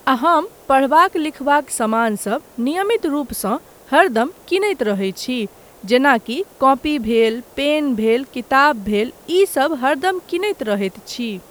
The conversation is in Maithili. आ हम पढ़बाक लिखबाक समानसब नियमित रूपसँ हरदम किनैत रहैत छी। जेनाकी कॉपी भेल, पेन भेल, किताब भेल, ई सभ हरदम किनैत रहैत छी।